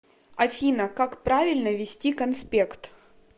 афина как правильно вести конспект